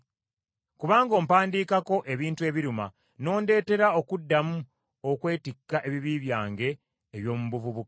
Kubanga ompadiikako ebintu ebiruma, n’ondeetera okuddamu okwetikka ebibi byange eby’omu buvubuka.